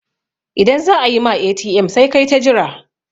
idan za a yi ma ATM sai kai ta Jira